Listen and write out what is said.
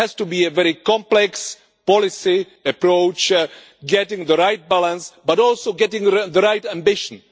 It has to be a very complex policy approach, getting the right balance but also getting the right ambition.